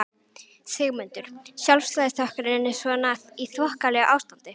Sigmundur: Sjálfstæðisflokkurinn er svona í þokkalegu ástandi?